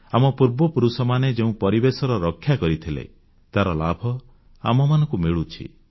ଆମ ପୂର୍ବପୁରୁଷମାନେ ଯେଉଁ ପରିବେଶର ରକ୍ଷା କରିଥିଲେ ତାର ଲାଭ ଆମମାନଙ୍କୁ ମିଳୁଛି